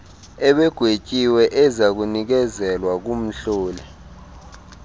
ebegwetyiwe ezakunikezelwa kumhloli